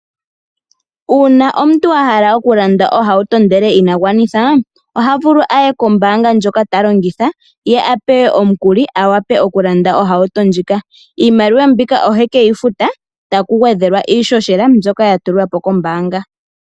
Uuna omuntu a hala okulanda ohauto ashike ina gwanitha oha vulu aye kombanga ndjoka ta longitha ye a pewe omukuli a wape okulanda ohauto ndjika, iimaliwa mbika ohe ke yi futa taku gwedhelwa iishoshela mbyoka ya tulwapo kombaanga.